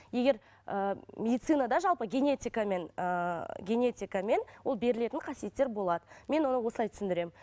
егер ыыы медицинада жалпы генетикамен ыыы генетикамен ол берілетін қасиеттер болады мен оны осылай түсіндіремін